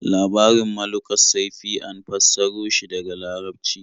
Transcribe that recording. Labarin Malukussaifi an fassaro shi daga Larabci.